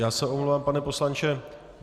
Já se omlouváme, pane poslanče.